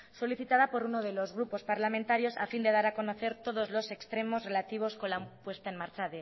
solicitada por uno de los grupos parlamentarios a fin de dar a conocer todos los extremos relativos con la puesta en marcha